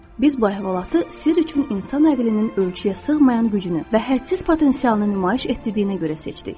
Biz bu əhvalatı sirr üçün insan ağlının ölçüyə sığmayan gücünü və hədsiz potensialını nümayiş etdirdiyinə görə seçdik.